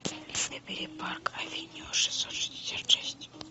набери парк авеню шестьсот шестьдесят шесть